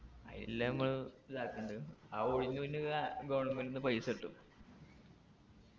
അയില്ലേ മ്മള് ഇതാക്കണ്ട് ആ ഒടിഞ്ഞുങ്ങി വീണാ government ന്ന് പൈസ കിട്ടും